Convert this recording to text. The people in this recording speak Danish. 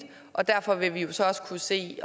og derfor vil vi jo så også kunne se